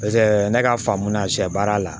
ne ka faamu na sɛ baara la